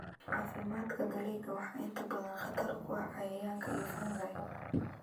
Caafimaadka dalagga waxaa inta badan khatar ku ah cayayaanka iyo fungi.